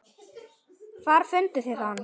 Hvar funduð þið hann?